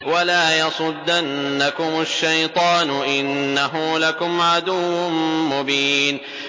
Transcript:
وَلَا يَصُدَّنَّكُمُ الشَّيْطَانُ ۖ إِنَّهُ لَكُمْ عَدُوٌّ مُّبِينٌ